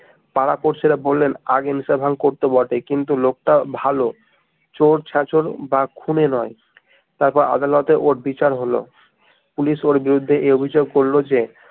পাড়া পড়শিরা বললেন আগে নেশাপান করতো বটে কিন্তু লোক টা ভাল চোর ছেঁচড় বা খুনি নয় তারপর আদালতে ওর বিচার হলো পুলিশ ওর বিরুদ্ধে এই অভিযোগ করলো যে